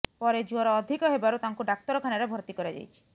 ପରେ ଜ୍ୱର ଅଧିକ ହେବାରୁ ତାଙ୍କୁ ଡାକ୍ତରଖାନାରେ ଭର୍ତ୍ତି କରାଯାଇଛି